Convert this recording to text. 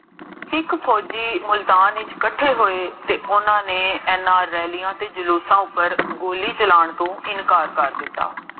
ਇਕ ਫੋਜੀ ਮੁਲਤਾਨ ਵਿਚ ਕਥੇ ਹੋਏ ਤੇ ਓਨ੍ਨਾ ਨੇ ਇੰਨਾ ਰਾਲ੍ਲੀਆਂ ਤੇ ਜਲੂਸਾਂ ਉਪਰ ਗੋਲੀ ਚਲਾਨ ਨੂੰ ਇਨਕਾਰ ਕਰ ਦਿਤਾ